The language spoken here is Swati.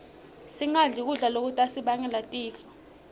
singadli kudla lokutasibangela tifo